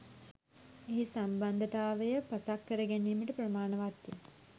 එහි සම්බන්ධතාවය පසක් කර ගැනීමට ප්‍රමාණවත් ය.